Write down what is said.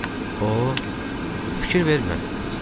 O, fikir vermə, Stiv dedi.